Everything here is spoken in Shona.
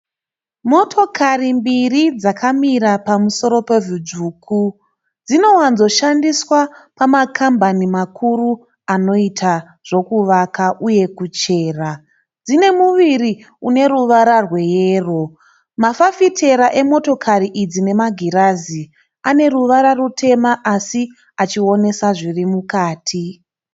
Motokari mbiri dzakamira pamusoro pevhu dzvuku. Dzinowadzo kushandiswa pamakambani makuru anoita zvekuvaka uye kuchera. Dzine muviri une ruvara rweyero. Mafafitera emotokari idzi nemagirazi, ane ruvara rutema asi achionesa zvirimukati.